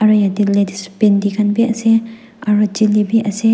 e ete ladies bhinhi khan bhi ase aru chilli bhi ase.